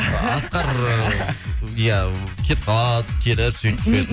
асқар ия кетіп қалып келіп сөйтіп жүреді